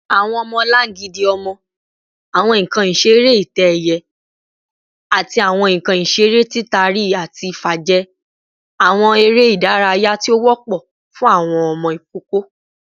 Awọn ọmọlangidi ọmọ, awọn nkan isere itẹ-ẹiyẹ, ati awọn nkan isere titari-ati-fa jẹ awọn ere idaraya ti o wọpọ fun awọn ọmọ ikoko